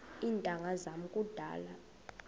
iintanga zam kudala